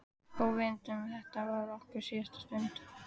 Óvitandi um að þetta var okkar síðasta stund.